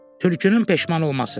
Tülkünün peşman olması.